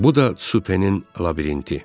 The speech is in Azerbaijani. Bu da Tsupenin labirinti.